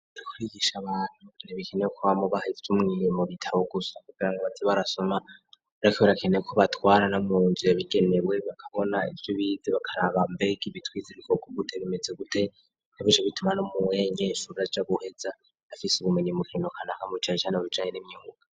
ri kurigisha abantu arebikenewe ko bamu bahise umwirimo bitabo gusa gupera ngo batsi barasoma rakiberakenee ko batwara na munjiye bigenewe bakabona ibyo bizi bakaraba mbek ibitwize bikoko gute bimeze gute ikabishe bituma no mu wenye ishubra ca guheza afise ubumenye mukino kananka mcaye icyane obijanye n'imyinguka